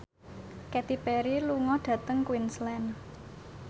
Katy Perry lunga dhateng Queensland